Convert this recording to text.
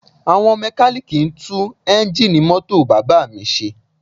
Àwọn mẹ́kalíìkì ń tún eńjíìnì mọ́tò bàbá mi ṣe